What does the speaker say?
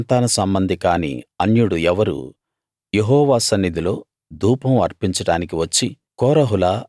అహరోను సంతాన సంబంధి కాని అన్యుడు ఎవరూ యెహోవా సన్నిధిలో ధూపం అర్పించడానికి వచ్చి